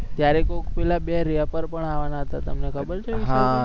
ત્યારે કોઈક બે રેપર પણ આવવાના હતા તમને ખબર છે વિશાલભાઈ